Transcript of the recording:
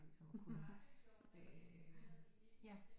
Øh ja